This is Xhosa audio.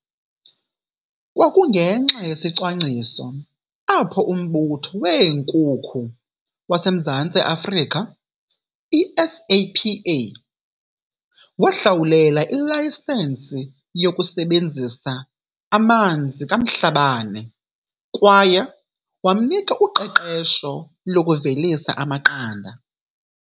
Kwakungenxa yesicwangciso apho uMbutho weeNkukhu waseMzantsi Afrika, i-SAPA, wahlawulela ilayisensi yokusebenzisa amanzi kaMhlabane kwaye wamnika uqeqesho lokuvelisa amaqanda.